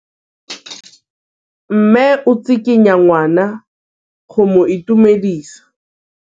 Mme o tsikitla ngwana go mo itumedisa.